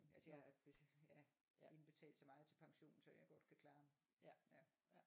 Altså jeg ja indbetalt så meget til pension så jeg godt kan klare